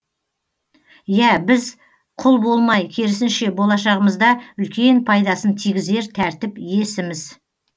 иә біз құл болмай керісінше болашағымызда үлкен пайдасын тигізер тәртіп иесіміз